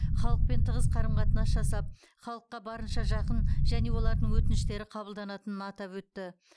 халықпен тығыз қарым қатынас жасап халыққа барынша жақын және олардың өтініштері қабылданатынын атап өтті